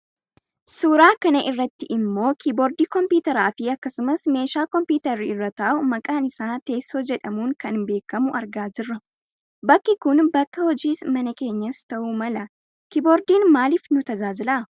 Suuraa kanarratti ammoo kiiboordii kompuuteraafi akkasumas meeshaa kompuuterri orra taa'u maqaan isaa teessoo jedhamuun kan beekkamu argaa jirra. Bakki kun bakka hojiis mana keenyas ta'uu mala. Kiiboordiin maaliif nu tajaajila?